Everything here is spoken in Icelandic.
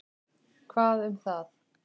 Hvað um það.